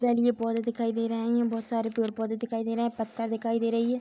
जलीय पौधे दिखाई दे रहे है यहां बहुत सारे पेड़-पौधे दिखाई दे रहे है पत्ता दिखाई दे रही है।